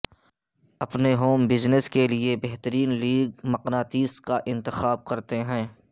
اپنے home business کے لئے بہترین لیگ مقناطیس کا انتخاب کرتے ہیں